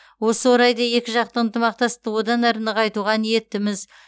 осы орайда екіжақты ынтымақтастықты одан әрі нығайтуға ниеттіміз